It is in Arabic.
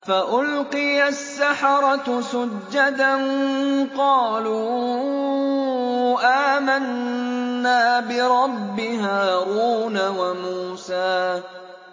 فَأُلْقِيَ السَّحَرَةُ سُجَّدًا قَالُوا آمَنَّا بِرَبِّ هَارُونَ وَمُوسَىٰ